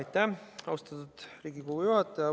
Aitäh, austatud Riigikogu juhataja!